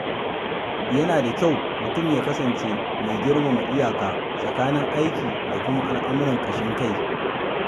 Yana da kyau mutum ya kasance mai girmama iyaka tsakanin aiki da kuma al’amuran ƙashin kai.